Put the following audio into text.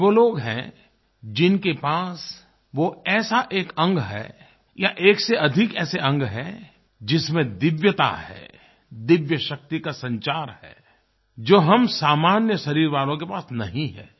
ये वो लोग हैं जिनके पास वो ऐसा एक अंग है या एक से अधिक ऐसे अंग हैं जिसमें दिव्यता है दिव्य शक्ति का संचार है जो हम सामान्य शरीर वालों के पास नहीं है